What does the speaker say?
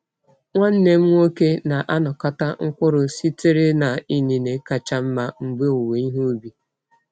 Nwanne m nwoke na-anakọta mkpụrụ sitere na inine kacha mma mgbe owuwe ihe ubi.